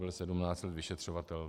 Byl 17 let vyšetřovatel.